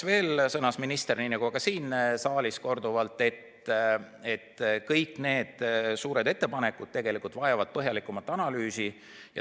Veel sõnas minister, nii nagu ka siin saalis korduvalt, et kõik need suured ettepanekud vajavad põhjalikumat analüüsi.